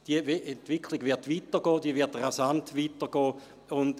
Diese Entwicklung wird weitergehen, diese wird rasant weitergehen.